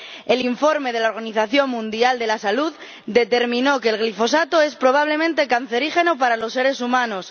El informe de la Organización Mundial de la Salud determinó que el glifosato es probablemente cancerígeno para los seres humanos